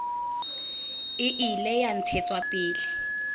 e ile ya ntshetswa pele